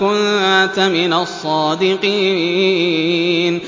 كُنتَ مِنَ الصَّادِقِينَ